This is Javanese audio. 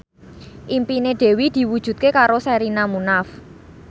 impine Dewi diwujudke karo Sherina Munaf